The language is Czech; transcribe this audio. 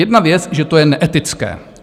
Jedna věc, že to je neetické.